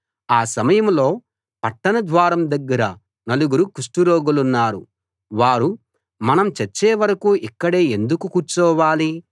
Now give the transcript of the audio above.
ఆ సమయంలో పట్టణ ద్వారం దగ్గర నలుగురు కుష్టురోగులున్నారు వారు మనం చచ్చే వరకూ ఇక్కడే ఎందుకు కూర్చోవాలి